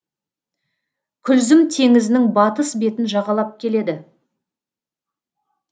күлзім теңізінің батыс бетін жағалап келеді